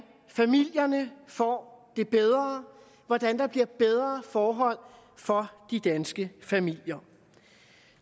familierne får det bedre hvordan der bliver bedre forhold for de danske familier